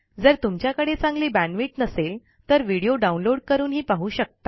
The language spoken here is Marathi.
जर तुमच्याकडे चांगली बॅण्डविड्थ नसेल तर व्हिडिओ डाउनलोड करूनही पाहू शकता